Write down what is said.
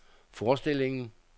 forestillingen